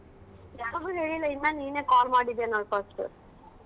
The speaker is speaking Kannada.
ಯಾರ್ಗು ಹೇಳಿಲ್ಲಾ ಇನ್ನ ನೀನೆ call ಮಾಡಿದ್ದೀಯಾ ನೋಡ್ first .